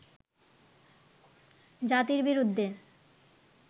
জাতির বিরুদ্ধে